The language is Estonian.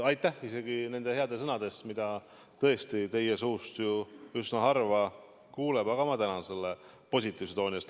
Aitäh nende heade sõnade eest, mida tõesti teie suust ju üsna harva kuuleb, ma tänan selle positiivse tooni eest.